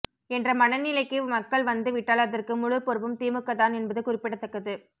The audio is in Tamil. என்ற மனநிலைக்கு மக்கள் வந்துவிட்டால் அதற்கு முழு பொறுப்பும் திமுக தான் என்பது குறிப்பிடத்தக்கது